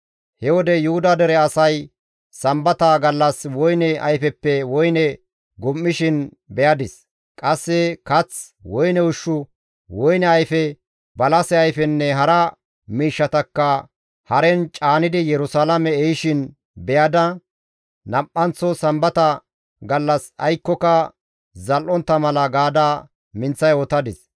He wode Yuhuda dere asay Sambata gallas woyne ayfeppe woyne gum7ishin beyadis; qasse kath, woyne ushshu, woyne ayfe, balase ayfenne hara miishshatakka haren caanidi Yerusalaame ehishin beyada nam7anththo Sambata gallas aykkoka zal7ontta mala gaada minththa yootadis.